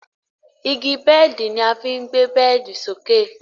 Igi bẹ́ẹ̀di ni a fí ń gbé bẹ́ẹ̀di sókè.